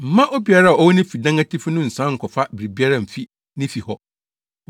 Mma obiara a ɔwɔ ne fi dan atifi no nsian nkɔfa biribiara mfi ne fi hɔ.